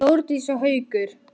Þórdís og Haukur.